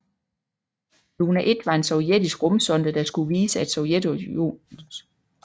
Luna 1 var en sovjetisk rumsonde der skulle vise at Sovjetunionens raketter var meget præcise